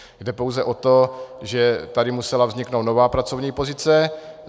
Jde pouze o to, že tady musela vzniknout nová pracovní pozice.